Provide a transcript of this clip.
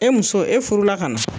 E muso e furula ka na.